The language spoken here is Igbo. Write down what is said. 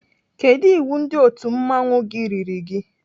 Kedụ iwu ndị otu mmanwụ gị riri gị?